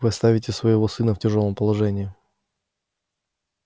вы оставите своего сына в тяжёлом положении